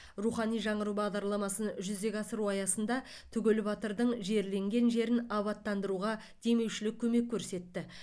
рухани жаңғыру бағдарламасын жүзеге асыру аясында түгел батырдың жерленген жерін абаттандыруға демеушілік көмек көрсетті